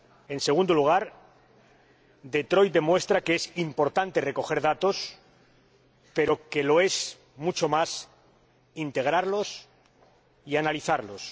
En segundo lugar, Detroit demuestra que es importante recoger datos, pero que lo es mucho más integrarlos y analizarlos.